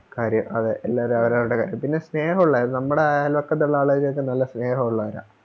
കാര്യം അതെ എല്ലാവരും അവരവരുടെ കാര്യം പിന്നെ സ്നേഹൊള്ളവരാ നമ്മടെ അയൽവക്കത്തൊള്ള ആളുകൾക്കൊക്കെ നല്ല സ്നേഹൊള്ളവരാ